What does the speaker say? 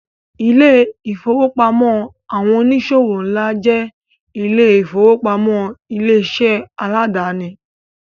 Ilé-ìfowópamọ́ àwọn oníṣòwò ńlá jẹ́ ilé-ìfowópamọ́ ilé-iṣẹ́ aládàáni.